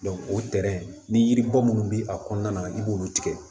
o ni yiribɔ minnu bɛ a kɔnɔna na i b'olu tigɛ